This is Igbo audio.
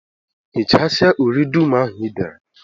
Hichasịa uri dum ahụ Ị dere!